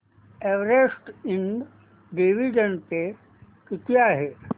Everest Ind dividend pay किती आहे